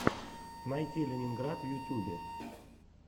найти ленинград в ютюбе